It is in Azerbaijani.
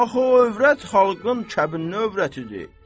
axı o övrət xalqın kəbinli övrətidir.